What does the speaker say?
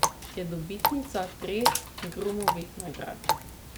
Je dobitnica treh Grumovih nagrad.